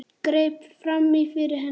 Greip fram í fyrir henni.